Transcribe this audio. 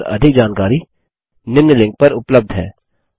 इस पर अधिक जानकारी निम्न लिंक पर उपलब्ध है